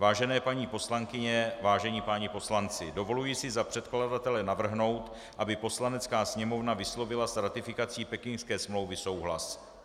Vážené paní poslankyně, vážení páni poslanci, dovoluji si za předkladatele navrhnout, aby Poslanecká sněmovna vyslovila s ratifikací pekingské smlouvy souhlas.